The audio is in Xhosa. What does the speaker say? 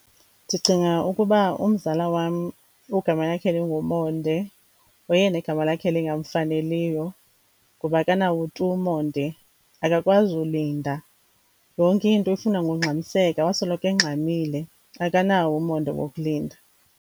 Ndicinga ukuba umzala wam ogama lakhe linguMonde ngoyena igama lakhe lingamfaneliyo ngoba akanawo tu umonde. Akakwazi ulinda, yonke into uyifuna ngongxamiseka, wasoloko engxamile. Akanawo umonde wokulinda.